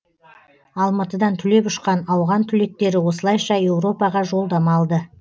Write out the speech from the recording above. алматыдан түлеп ұшқан ауған түлектері осылайша еуропаға жолдама алды